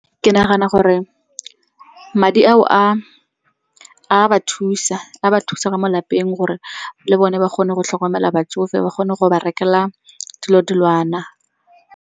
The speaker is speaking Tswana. Ke nagana gore madi ao a ba thusa, a ba thusa ka mo lapeng gore le bone ba kgone go tlhokomela batsofe, ba kgone go ba rekela dilo dilwana.